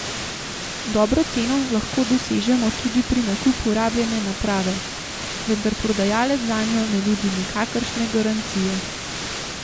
Dobro ceno lahko dosežemo tudi pri nakupu rabljene naprave, vendar prodajalec zanjo ne nudi nikakršne garancije.